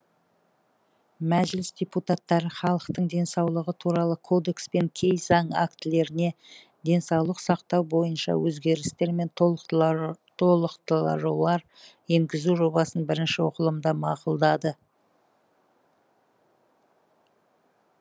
мәжіліс депутаттары халықтың денсаулығы туралы кодекс пен кей заң актілеріне денсаулық сақтау бойынша өзгерістер мен толықтырулар енгізу жобасын бірінші оқылымда мақұлдады